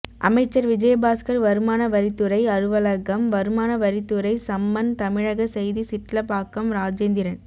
அமைச்சர் விஜயபாஸ்கர் வருமான வரித்துறை அலுவலகம் வருமான வரித்துறை சம்மன் தமிழக செய்தி சிட்லபாக்கம் ராஜேந்திரன்